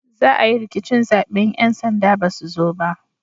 Za a yi rikicin zabe in 'yan sanda ba su zo ba